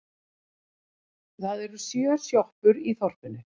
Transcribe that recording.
Það eru sjö sjoppur í þorpinu!